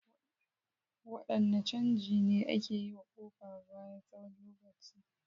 Wadanne canji ne ake yi wa kofa bayan tsawon lokaci?